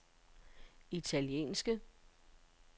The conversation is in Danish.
italienske